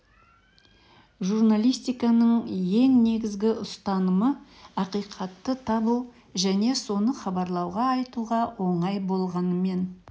журналистиканың ең негізгі ұстанымы ақиқатты табу және соны хабарлау айтуға оңай болғанымен